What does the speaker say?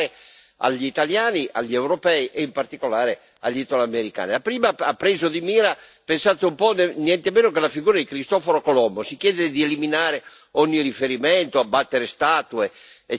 agli italiani, agli europei e in particolare agli italoamericani. La prima ha preso di mira, pensate un po', niente di meno che la figura di Cristoforo Colombo si chiede di eliminare ogni riferimento a tale personaggio, abbattere statue, ecc.